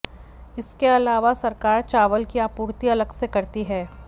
इसके अलावा सरकार चावल की आपूर्ति अलग से करती है